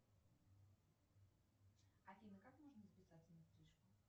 афина как можно записаться на стрижку